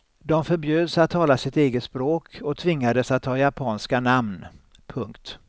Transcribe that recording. De förbjöds att tala sitt eget språk och tvingades att ta japanska namn. punkt